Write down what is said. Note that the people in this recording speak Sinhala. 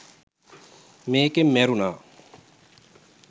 මේකෙන් මැරුණා